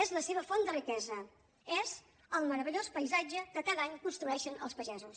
és la seva font de riquesa és el meravellós paisatge que cada any construeixen els pagesos